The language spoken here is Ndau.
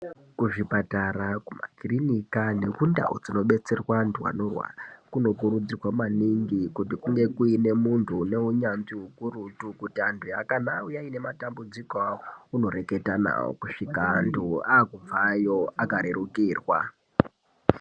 Kuzvipatara kumakirinika nekundau dzinobetserwa antu anorwara kunokurudzirwa maningi kuti kunge kuine muntu une unyanzvi ukurutu kuti antu kana auya aine matambudziko awo unoreketa nawo kusvika antu akubvayo akarerukirwa.